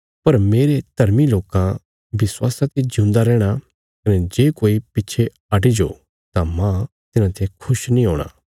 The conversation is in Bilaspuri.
पर मेरे धर्मी लोकां विश्वासा ते जिऊंदा रैहणां कने जे कोई पिच्छे हटि जाओ तां मांह तिन्हांते खुश नीं हूणा